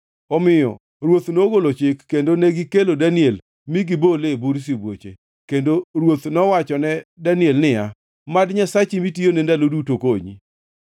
Omiyo ruoth nogolo chik, kendo negikelo Daniel mi gibole e bur sibuoche, kendo ruoth nowachone Daniel niya, “Mad Nyasachi, mitiyone ndalo duto, konyi!”